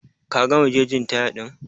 Ka gama gegin taya din?